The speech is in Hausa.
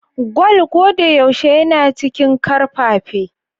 Kwal ko da yaushe yana cikin karfafe?